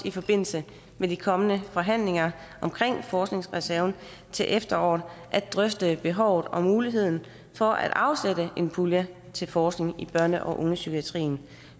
i forbindelse med de kommende forhandlinger om forskningsreserven til efteråret at drøfte behovet og muligheden for at afsætte en pulje til forskning i børne og ungdomspsykiatrien